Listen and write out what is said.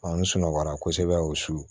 n sunɔgɔla kosɛbɛ o su